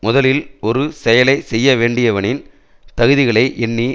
முதலில் ஒரு செயலை செய்ய வேண்டியவனின் தகுதிகளை எண்ணி